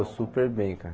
Super bem, cara.